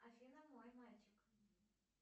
афина мой мальчик